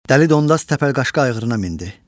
Dəli Dondaz təpəlqaşqa ayğırına mindi.